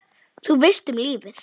Þú veist, um lífið?